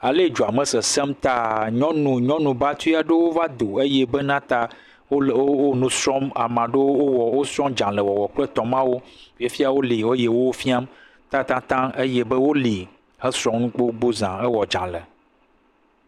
Alee dzuame sesẽm taa nyɔnu nyɔnu batri aɖewo vado eye bena ta wole wo nusrɔm. Ameaɖewo wowɔ wosrɔ̃dzalẽwɔwɔ kple tɔmawo fifia woli eye wo wofia tatatã eye be woli he srɔ̃nu gbogbogbo zã hewɔ dzalẽ.